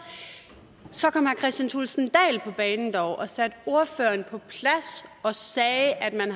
kristian thulesen dahl dog og satte ordføreren på plads og sagde at man